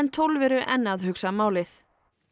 tólf eru enn að hugsa málið